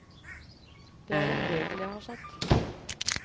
Det er en regel jeg har satt.